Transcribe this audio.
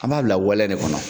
An b'a bila wal ɛde kɔnɔ.